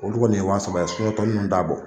Olu kɔni ye wa saba ye tɔ nunnu t'a bɔ.